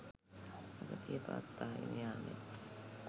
අගතිය පවත්වාගෙන යාමෙන්